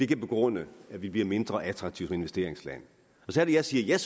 kan begrunde at vi bliver mindre attraktive som investeringsland så er det jeg siger